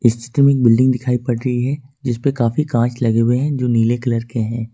इस चित्र में बिल्डिंग दिखाई पड़ रही हैं जिसपे काफी कांच लगे हुए है जो नीले कलर के हैं।